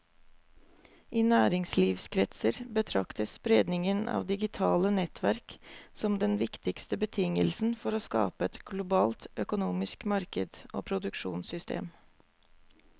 I næringslivskretser betraktes spredningen av digitale nettverk som den viktigste betingelsen for å skape et globalt økonomisk marked og produksjonssystem.